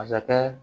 Masakɛ